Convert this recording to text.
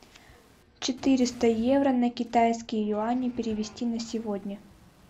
четыреста евро на китайские юани перевести на сегодня